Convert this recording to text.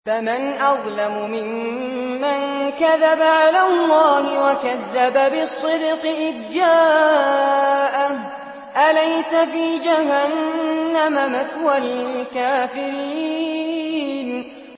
۞ فَمَنْ أَظْلَمُ مِمَّن كَذَبَ عَلَى اللَّهِ وَكَذَّبَ بِالصِّدْقِ إِذْ جَاءَهُ ۚ أَلَيْسَ فِي جَهَنَّمَ مَثْوًى لِّلْكَافِرِينَ